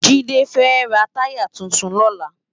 Jide fè rá tàyá tútún lòlá